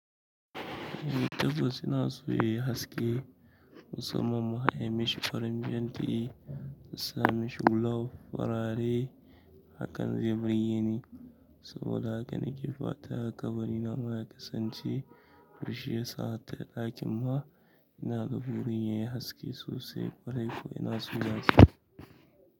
Eh ta bas ina so yayi haske, mussaman ma in mishi farin fenti, in sa mai gulp farare hakan zai burgeni saboda haka na ke fatan ƙabari na ma ya kasance. To shiyasa ka ga ɗakin ma ina da burin yayi haske sosaai ƙwarai kuwa.